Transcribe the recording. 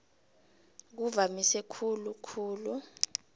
kuvamise khulu khulu